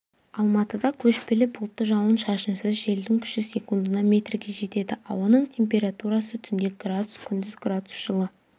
алматыда көшпелі бұлтты жауын-шашынсыз желдің күші секундына метрге жетеді ауаның температурасы түнде градус күндіз градус жылы